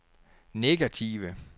negative